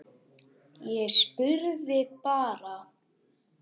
Ég spurði bara.